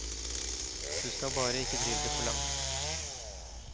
Du skal bare ikke drive det for langt.